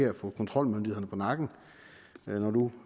at få kontrolmyndighederne på nakken når nu